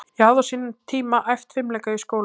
Ég hafði á sínum tíma æft fimleika í skólanum í